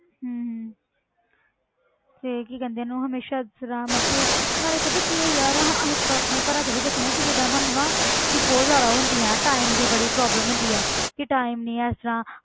ਹਮ ਹਮ ਤੇ ਕੀ ਕਹਿੰਦੇ ਆ ਉਹਨੂੰ ਹਮੇਸ਼ਾ ਫਿਰ ਹਾਂ ਮਤਲਬ ਕਿ ਨਾਲੇ ਪਤਾ ਕੀ ਹੈ ਯਾਰ ਅਸੀਂ ਆਪਣੇ ਘਰਾਂ 'ਚ ਵੀ ਦੇਖਦੇ ਹਾਂ ਕਿ ਜਿੱਦਾਂ ਸਾਨੂੰ ਨਾ ਕਿ ਬਹੁਤ ਜ਼ਿਆਦਾ ਉਹ ਹੁੰਦੀ ਹੈ time ਦੀ ਬੜੀ problem ਹੁੰਦੀ ਹੈ ਕਿ time ਨੀ ਹੈ ਇਸ ਤਰ੍ਹਾਂ